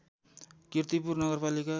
कीर्तिपुर नगरपालिका